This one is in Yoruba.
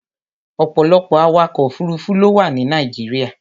Ọ̀pọ̀lọpọ̀ awakọ̀ òfuruufú ló wà ní Nàìjíríà.